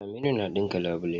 Aminu yana ɗinka labule.